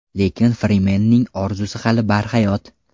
Lekin Frimenning orzusi hali barhayot.